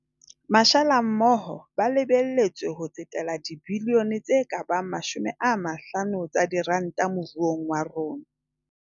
Mashala mmoho ba lebe letswe ho tsetela dibilione tse ka bang 50 tsa diranta mo ruong wa rona.